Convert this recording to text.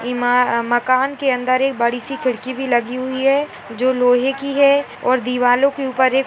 माकन के अंदर एक बडी सी खिड़की भी लगी हुई है जो लोहे की है और दीवारो के ऊपर एक--